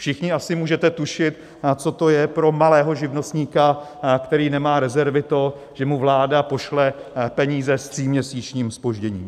Všichni asi můžete tušit, co to je pro malého živnostníka, který nemá rezervy, to, že mu vláda pošle peníze s tříměsíčním zpožděním.